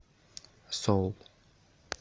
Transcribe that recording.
соул